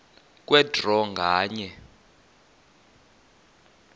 kwe draw nganye